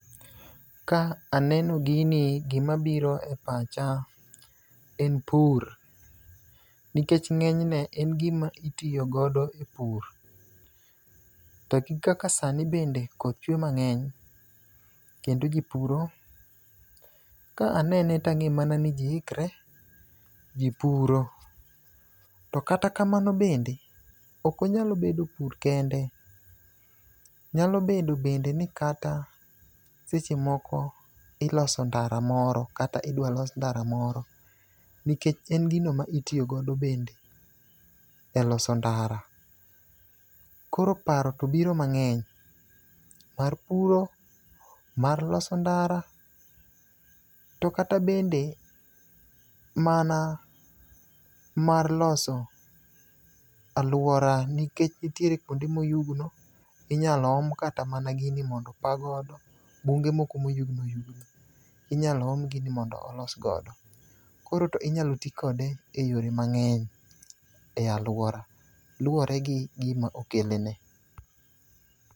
Ka aneno gini, gimabiro e pacha en pur. Nikech ng'enyne en gima itiyo godo e pur, to gi kaka sani bende koth chuwe mang'eny kendo ji puro, ka anene tang'e mana ni ji ikre, ji puro. To kata kamano bende, ok onyal bedo pur kende, nyalo bedo bende ni kata seche moko iloso ndara moro kata idwa los ndara moro. Nikech en gino ma itiyo godo bende e loso ndara. Koro paro to biro mang'eny. Mar puro, mar loso ndara, to kata bende mana mar loso alwora, nikech nitiere kwonde moyugno, inyalo om kata mana gini mondo opa godo. Bunge moko mayugno oyugno, inyalo om gini mondo olos godo. Koro to inyalo ti kode e yore mang'eny e alwora, luwore gi gima okelne.